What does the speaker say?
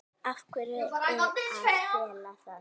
Af hverju að fela það?